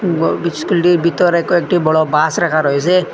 ইস্কুলটির ভিতরে কয়েকটি বড় বাস রাখা রয়েসে।